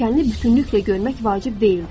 Pilləkəni bütünlüklə görmək vacib deyildi.